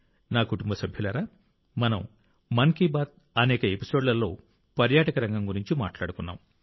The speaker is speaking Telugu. నా కుటుంబ సభ్యులారా మనం మన్ కీ బాత్ అనేక ఎపిసోడ్లలో పర్యాటక రంగం గురించి మాట్లాడుకున్నాం